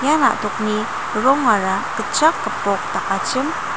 ia na·tokni rongara gitchak gipok dakachim.